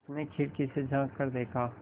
उसने खिड़की से झाँक कर देखा